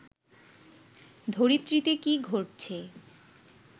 ধরিত্রীতে কি ঘটছে